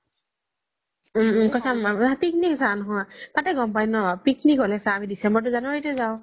উম উম তাতে গ্'ম পাই ন picnic হ'লি চা আমি december january এ যাও